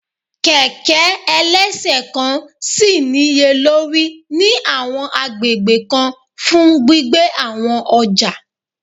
Kẹ̀kẹ́ ẹlẹ́ṣẹ̀kan ṣì níye lórí ní àwọn agbègbè kan fún gbígbé àwọn ọjà